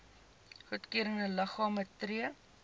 goedgekeurde liggame tree